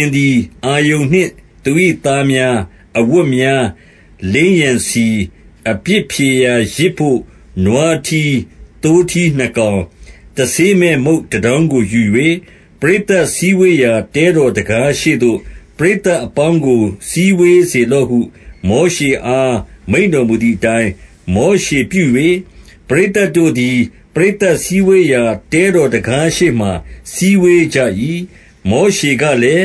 င်သည် အာရုန်နှင့် သူ၏သားများ၊ အဝတ်များ၊ လိမ်းရန်ဆီ၊ အပြစ်ဖြေရာ ယဇ်ဘို့ နွားထီး၊ သိုးထီးနှစ်ကောင်၊ တဆေးမဲ့ မုန့်တတောင်းကိုယူ၍၊- 3 ပရိသတ်စည်းဝေးရာ တဲတော်တံခါးရှေ့သို့ ပရိသတ်အပေါင်းကို စည်ဝေးစေလော့ဟု မောရှေအား မိန့်တော်မူသည်အတိုင်း၊ 4 မောရှေပြု၍၊ ပရိသတ်တို့သည် ပရိသတ်စည်းဝေးရာ တဲတော်တံခါးရှေ့မှာ စည်းဝေးကြ၏။ 5 မောရှေကလည်း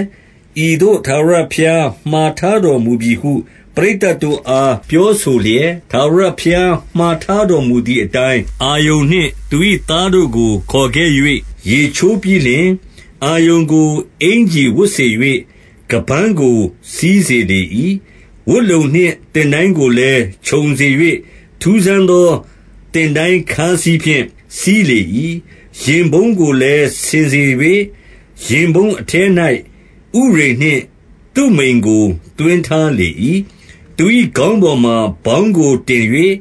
၊ ဤသို့ ထာဝရဘုရားမှာ ထားတော်မူပြီဟု ပရိသတ်တို့အား ပြောဆိုလျက်၊ 6 ထာဝရဘုရားမှာထားတော်မူသည်အတိုင်း၊ အာရုန်နှင့် သူ၏သားတို့ကို ခေါ်ခဲ့၍ ရေချိုးပြီးလျှင်၊ 7 အာရုန်ကို အင်္ကျီဝတ်စေ၍၊ ခါးပန်းကို စည်းစေလေ၏။ ဝတ်လုံနှင့် သင်တိုင်းကိုလည်း ခြုံစေ၍၊ ထူးဆန်းသော သင်တိုင်းခါးစည်းဖြင့် စည်းလေ၏။ 8 ရင်ဖုံးကိုလည်း ဆင်စေ၍၊ ရင်ဖုံးအထဲ၌ ဥရိမ်နှင့် သုမိမ်ကို သွင်းထားလေ၏။ 9 သူ၏ခေါင်းပေါ်မှာ ဗေါင်းကိုတင်၍၊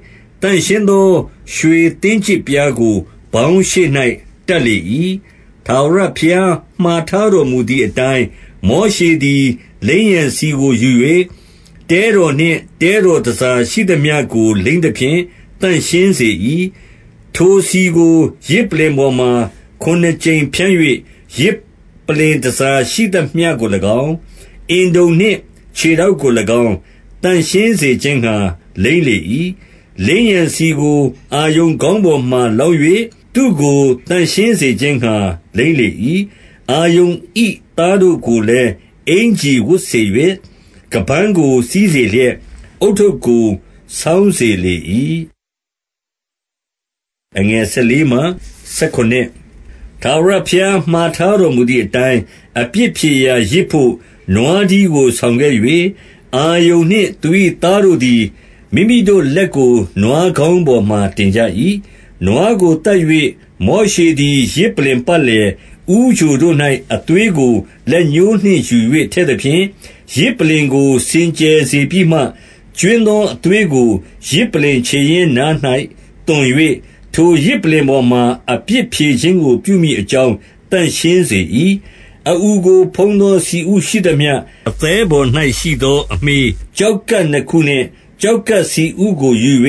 သန့်ရှင်းသော ရွှေသင်းကျစ်ပြားကို ဗေါင်းရှေ့၌ တပ်လေ၏။ 10 ထာဝရဘုရားမှာထားတော်မူသည်အတိုင်း၊ မောရှေသည် လိမ်းရန်ဆီကိုယူ၍၊ တဲတော်နှင့် တဲတော် တန်ဆာရှိသမျှကို လိမ်းသဖြင့် သန့်ရှင်းစေ၏။ 11 ထိုဆီကို ယဇ်ပလ္လင်ပေါ်မှာ ခုနစ်ကြိမ် ဖြန်း၍၊ ယဇ်ပလ္လင်တန်ဆာရှိသမျှကို၎င်း၊ အင်တုံနှင့် ခြေထောက်ကို၎င်း၊ သန့်ရှင်စေခြင်းငှါ လိမ်းလေ၏။ 12 လိမ်းရန်ဆီကို အာရုန်ခေါင်းပေါ်မှာ လောင်း၍ သူ့ကိုသန့်ရှင်းစေခြင်းငှါ လိမ်းလေ၏။ 13 အာရုန်၏သားတို့ကိုလည်း အင်္ကျီဝတ်စေ၍၊ ခါးပန်းကို စည်းစေလျက်၊ ဦးထုပ်ကို ဆောင်းစေလေ၏။ 14 ထာဝရဘုရားမှာ ထားတော်မူသည်အတိုင်း၊ အပြစ်ဖြေရာယဇ်ဘို့ နွားထီးကို ဆောင်ခဲ့၍၊ အာရုန်နှင့် သူ၏သားတို့သည်၊ မိမိတို့လက်ကို နွားခေါင်းပေါ်မှာ တင်ကြ၏။ 15 နွားကိုသတ်၍၊ မောရှေသည် ယဇ်ပလ္လင်ပတ်လည် ဦးချိုတို့၌ အသွေးကို လက်ညှိုးနှင့်ယူ၍ ထည့် သဖြင့်၊ ယဇ်ပလ္လင်ကို စင်ကြယ်စေပြီးမှ၊ ကြွင်းသော အသွေးကို ယဇ်ပလ္လင်ခြေရင်းနား၌ သွန်၍၊ ထိုယဇ်ပလ္လင်ပေါ်မှာ အပြစ်ဖြေခြင်းကို ပြုမည်အကြောင်း သန့်ရှင်းစေ၏။ 16 အအူကိုဖုံးသော ဆီဥရှိသမျှ၊ အသည်းပေါ်၌ရှိသော အမြှေး၊ ကျောက်ကပ်နှစ်ခုနှင့် ကျောက်ကပ် ဆီဥကိုယူ၍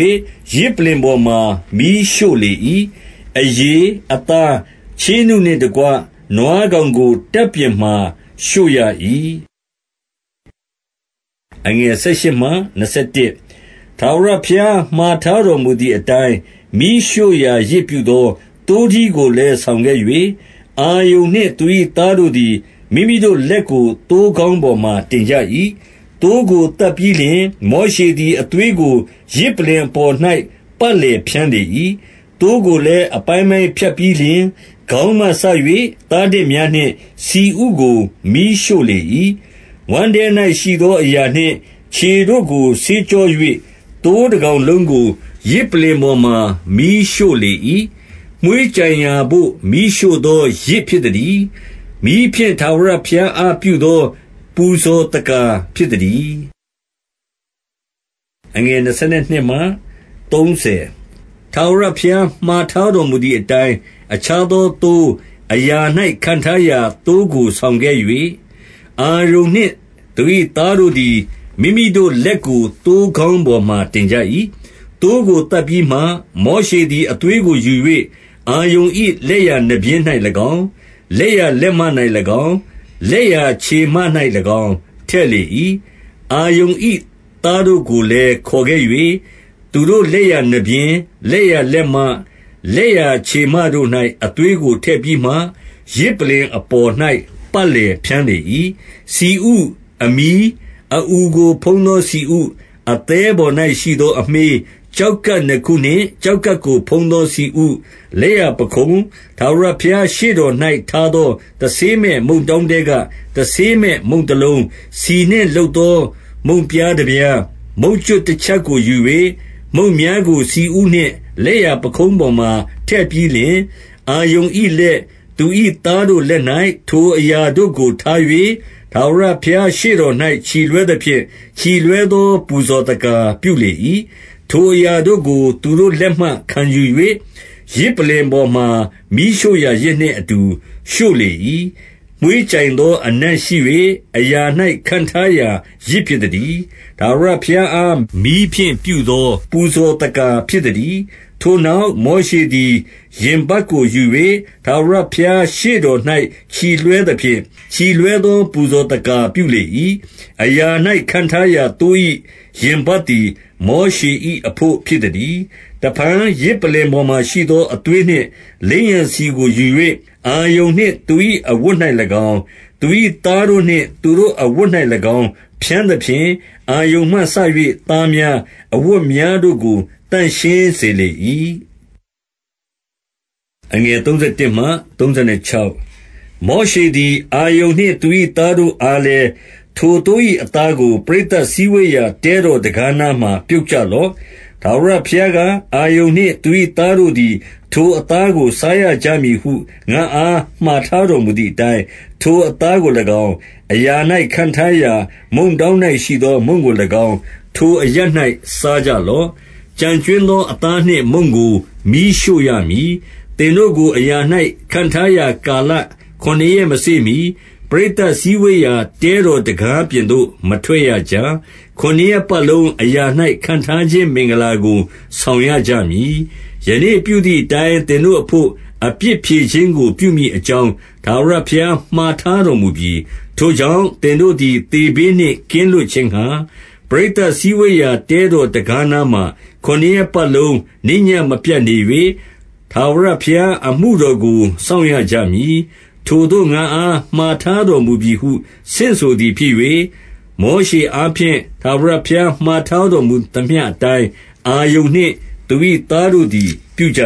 ယဇ်ပလ္လင်ပေါ်မှာ မီးရှို့လေ၏ 17 အရေ၊ အသား၊ ချေးနုနှင့်တကွ နွားကောင်ကို၊ တပ်ပြင်မှာ ရှို့ရ၏။ 18 ထာဝရဘုရား မှာထားတော်မူသည်အတိုင်း၊ မီးရှို့ရာယဇ်ပြုသော သိုးထီးကိုလည်း ဆောင်ခဲ့၍၊ အာရုန် နှင့် သူ၏သားတို့သည်၊ မိမိတို့လက်ကို သိုးခေါင်းပေါ်မှာ တင်ကြ၏။ 19 သိုးကိုသတ်ပြီးလျှင်၊ မောရှေသည် အသွေးကို ယဇ်ပလ္လင်အပေါ်၌ ပတ်လည်ဖြန်းလေ၏။ 20 သိုးကိုလည်း အပိုင်းပိုင်းဖြတ်ပြီးလျှင်၊ ခေါင်းမှစ၍ သားတများနှင့် ဆီဥကို မီးရှို့လေ၏။ 21 ဝမ်းထဲ၌ရှိသော အရာနှင့်ခြေတို့ကို ဆေးကြော၍၊ သိုးတကောင်လုံးကို ယဇ်ပလ္လင်ပေါ်မှာ မီးရှို့လေ၏။ မွှေးကြိုင်ရာဘို့ မီးရှို့သော ယဇ်ဖြစ်သတည်း။ မီးဖြင့် ထာဝရဘုရားအားပြုသော ပူဇော်သက္ကာ ဖြစ်သတည်း။ 22 ထာဝရဘုရားမှာထားတော်မူသည်အတိုင်း၊ အခြားသောသိုး၊ အရာ၌ ခန့်ထားရာ သိုးကိုဆောင်ခဲ့၍၊ အာရုန်နှင့် သူ၏သားတို့သည် မိမိတို့လက်ကို သိုးခေါင်းပေါ်မှာ တင်ကြ၏။ 23 သိုးကို သတ်ပြီးမှ၊ မောရှေသည် အသွေးကိုယူ၍၊ အာရုန်၏ လက်ျာနားပျဉ်း၌၎င်း၊ လက်ျာလက်မ၌ ၎င်း၊ လက်ျာခြေမ၌၎င်း၊ ထည့်လေ၏။ 24 အာရုန်၏ သားတို့ကိုလည်း ခေါ်ခဲ့၍၊ သူတို့လက်ျာနားပျဉ်း၊ လက်ျာလက်မ၊ လက်ျာခြေမတို့၌ အသွေးကိုထည့်ပြီးမှ၊ ယဇ်ပလ္လင်အပေါ်၌ ပတ်လည်ဖြန်းလေ၏။ 25 ဆီဥ၊ အမြီး၊ အအူကို ဖုံးသောဆီဥ၊ အသည်းပေါ်၌ ရှိသောအမြှေး၊ ကျောက်ကပ်နှစ်ခုနှင့် ကျောက် ကပ်ကိုဖုံးသော ဆီဥ၊ လက်ျာပခုံး၊- 26 ထာဝရဘုရားရှေ့တော်၌ ထားသော တဆေးမဲ့ မုန့်တောင်းထဲက တဆေးမဲ့ မုန့်တလုံး၊ ဆီနှင့် လုပ်သော မုန့်ပြားတပြား၊ မုန့်ကြွပ်တချပ်ကိုယူ၍၊ မုန့်များကို ဆီဥနှင့်လက်ျာ ပခုံးပေါ်မှာ ထည့်ပြီး လျှင်၊- 27 အာရုန်၏လက်၊ သူ၏သားတို့လက်၌ ထိုအရာတို့ကို ထား၍၊ ထာဝရဘုရားရှေ့တော်၌၊ ချီလွှဲသဖြင့်၊ ချီလွှဲသော ပူဇော်သက္ကာပြုလေ၏။ 28 ထိုအရာတို့ကို သူတို့လက်မှခံယူ၍၊ ယဇ်ပလ္လင်ပေါ်မှာ မီးရှို့ရာယဇ်နှင့်အတူ ရှို့လေ၏။ မွှေးကြိုင် သော အနံ့ရှိ၍ အရာ၌ ခန့်ထားရာ ယဇ်ဖြစ်သတည်း။ ထာဝရဘုရားအား မီးဖြင့်ပြုသော ပူဇော်သက္ကာ ဖြစ်သတည်း။ 29 ထိုနောက် မောရှေသည် ရင်ပတ်ကို ယူ၍၊ ထာဝရဘုရား ရှေ့တော်၌ ချီလွှဲသဖြင့်၊ ချီလွှဲသော ပူဇော်သက္ကာပြုလေ၏။ အရာ၌ ခန့်ထားရာ သိုး၏ ရင်ပတ်သည် မောရှေ၏အဘို့ ဖြစ်သတည်း။ 30 တဖန် ယဇ်ပလ္လင်ပေါ်မှာရှိသော အသွေးနှင့် လိမ်းရန်ဆီကိုယူ၍ အာရုန်နှင့် သူ၏ အဝတ်၌၎င်း၊ သူ၏သားတို့နှင့်သူတို့အဝတ်၌၎င်း၊ ဖြန်းသဖြင့်၊ အာရုန်မှစ၍ သားများ၊ အဝတ်များတို့ကို သန့်ရှင်းစေ လေ၏။ 31 မောရှေသည်၊ အာရုန်နှင့် သူ၏သားတို့အားလည်း၊ ထိုသိုး၏ အသားကို ပရိသတ်စည်းဝေးရာ တဲတော် တံခါးနားမှာ ပြုတ်ကြလော့။ ထာဝရဘုရားက၊ အာရုန်နှင့် သူ၏သားတို့သည် ထိုအသားကို စားရ ကြမည်ဟု ငါ့အား မှာထားတော်မူသည်အတိုင်း၊ ထိုအသားကို၎င်း၊ အရာ၌ ခန့်ထားရာ မုန့်တောင်း ၌ရှိသောမုန့်ကို၎င်း၊ ထိုအရပ်၌ စားကြလော့။ 32 ကျန်ကြွင်းသော အသားနှင့် မုန့်ကိုမီးရှို့ရမည်။ 33 သင်တို့ကို အရာ၌ ခန့်ထားရာ ကာလခုနစ်ရက်မစေ့မှီ ပရိတ်သတ်စည်းဝေးရာ တဲတော်တံခါးပြင် သို့ မထွက်ရကြ။ ခုနစ်ရက်ပတ်လုံး အရာ၌ ခန့်ထားခြင်း မင်္ဂလာကို ဆောင်ရကြမည်။ 34 ယနေ့ပြုသည်အတိုင်း သင်တို့အဘို့ အပြစ်ဖြေခြင်းကို ပြုမည်အကြောင်း ထာဝရဘုရား မှာထား တော်မူပြီ။ 35 ထိုကြောင့် သင်တို့သည် သေဘေးနှင့် ကင်းလွတ်ခြင်းငှါ၊ ပရိသတ်စည်းဝေးရာ တဲတော်တံခါးနား မှာ၊ ခုနစ်ရက်ပတ်လုံး နေ့ညဉ့်မပြတ်နေ၍၊ ထာဝရဘုရား အမှုတော်ကို စောင့်ရကြမည်။ ထိုသို့ ငါ့အားမှာထားတော်မူပြီးဟု ဆင့်ဆိုသည်ဖြစ်၍၊- 36 မောရှေအားဖြင့် ထာဝရဘုရား မှာထားတော်မူသမျှအတိုင်း၊ အာရုန်နှင့် သူ၏သားတို့သည် ပြုကြ